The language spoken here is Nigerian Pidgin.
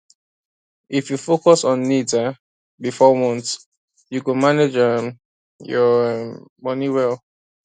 if you focus on needs um before wants you go manage um your um money well